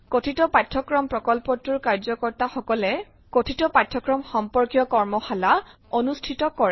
কথিত পাঠ্যক্ৰম প্ৰকল্পটোৰ কাৰ্য্যকৰ্ত্তা সকলে কথিত পাঠ্যক্ৰম সম্পৰ্কীয় কৰ্মশালা অনুষ্ঠিত কৰে